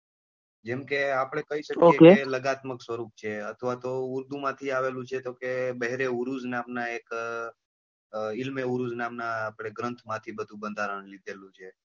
જેમ કે આપડે કઈ શકીએ લાગત્મ્ત્ક સ્વરૂપ છે અથવા તો ઉર્દુ માંથી આવેલું છે તો કે બેહ્રે ઉરુઝ નામ નાં એક ઈલ્મે ઉરુઝ નામ નાં ગ્રંથ માંથી બંધારણ લીધેલું છે.